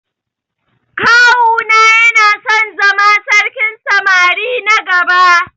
Kawu na yana son zama sarkin samari na gaba.